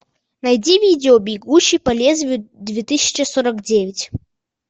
найди видео бегущий по лезвию две тысячи сорок девять